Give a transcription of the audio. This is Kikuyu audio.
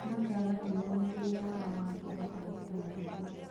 makaaga hinya mwĩrĩĩni wa kũhota gũkua ihu.